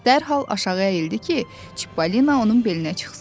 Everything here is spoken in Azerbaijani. Dərhal aşağı əyildi ki, Çippolino onun belinə çıxsın.